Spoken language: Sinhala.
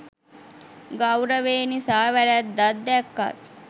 ගෞරවේ නිසා වැරැද්දක් දැක්කත්